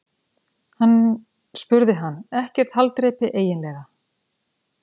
spurði hann: Ekkert haldreipi eiginlega.